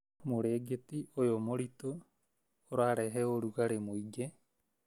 Mũrĩngĩti ũyũnĩ mũritũ, ũrarehe ũrugarĩ mũingĩ